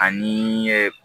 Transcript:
Ani ye